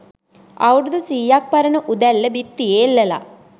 අවුරුදු සීයක් පරණ උදැල්ල බිත්තියේ එල්ලලා